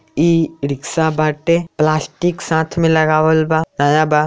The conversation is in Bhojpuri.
ई रिक्शा बाटे प्लास्टिक साथ में लगावल बानया बा।